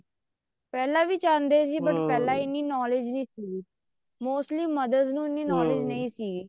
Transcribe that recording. ਪਹਿਲਾਂ ਵੀ ਚਾਹੁੰਦੇ ਸੀ ਪਹਿਲਾਂ ਇੰਨੀ knowledge ਨੀ ਸੀ mostly mothers ਨੂੰ ਇੰਨੀ knowledge ਨਹੀਂ ਸੀ